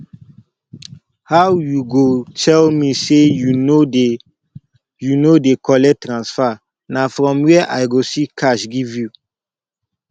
how you go tell me say you no dey you no dey collect transfer na from where i go see cash give you